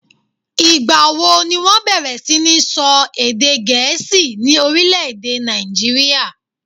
ìgbà wo ni wọ́n bẹ̀rẹ̀ sí ni sọ èdè Gẹ̀ẹ́sì ní orílè-èdè nàìjíríà?